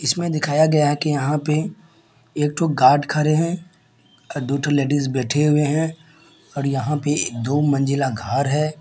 इसमें दिखाया गया है कि यहाँ पे एक ठो गार्ड खड़े है अ दो ठो लेडीज बैठे हुए है और यहाँ पे दो मंजिला घर है।